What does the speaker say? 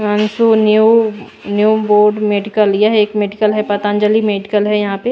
New new board medical यह एक medical है पतंजलि मेडिकल है यहां पे।